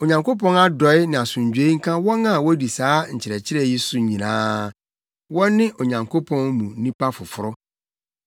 Onyankopɔn adɔe ne nʼasomdwoe nka wɔn a wodi saa nkyerɛkyerɛ yi so nyinaa; wɔne Onyankopɔn mu nnipa foforo.